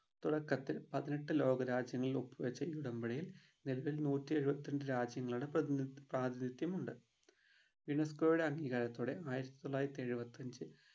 തുടക്കത്തിൽ പതിനെട്ട് ലോക രാജ്യങ്ങൾ ഒപ്പ് വെച്ച ഈ ഉടമ്പടിയിൽ നിലവിൽ നൂറ്റിഎഴുപത്തിരണ്ട് രാജ്യങ്ങളുടെ പ്രതിനി പ്രാതിനീത്യം ഉണ്ട് UNESCO യുടെ അംഗീകാരത്തോടെ ആയിരത്തിത്തൊള്ളായിരത്തി എഴുപത്തി അഞ്ചിൽ